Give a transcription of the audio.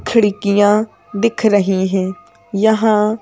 खिड़कियां दिख रही हैं यहां--